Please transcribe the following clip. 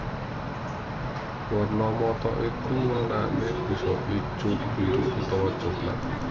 Werna mata iku wernané bisa ijo biru utawa coklat